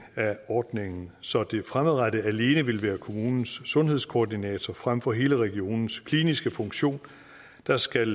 ordningen så det fremadrettet alene vil være kommunens sundhedskoordinator frem for hele regionens kliniske funktion der skal